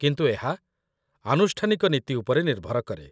କିନ୍ତୁ ଏହା ଆନୁଷ୍ଠାନିକ ନୀତି ଉପରେ ନିର୍ଭର କରେ